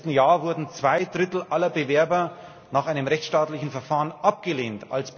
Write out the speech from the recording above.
Im letzten Jahr wurden zwei Drittel aller Bewerber nach einem rechtsstaatlichen Verfahren abgelehnt.